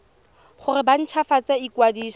gore ba nt hwafatse ikwadiso